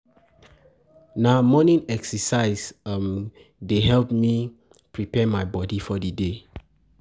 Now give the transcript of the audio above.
Na um morning excercise um dey help me um prepare my bodi for di day.